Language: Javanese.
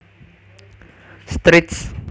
Strict